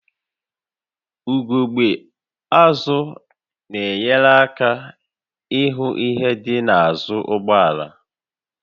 Ugogbe azụ na-enyere aka ịhụ ihe dị n'azụ ụgbọ ala